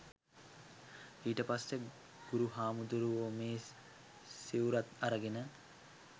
ඊට පස්සේ ගුරු හාමුදුරුවෝ මේ සිවුරත් අරගෙන